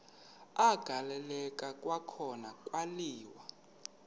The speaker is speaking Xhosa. agaleleka kwakhona kwaliwa